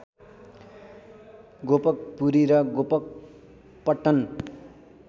गोपकपुरी र गोपकपट्टन